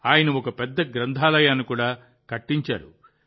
ఆయన ఒక పెద్ద గ్రంథాలయాన్ని కూడా కట్టించారు